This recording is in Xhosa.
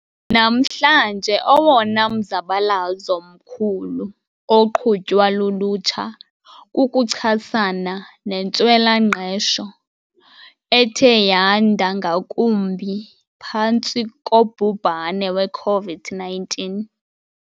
Namhlanje owona mzabalazo mkhulu oqhutywa lulutsha kukuchasana nentswela-ngqesho, ethe yanda ngakumbi phantsi kobhubhane we-COVID-19.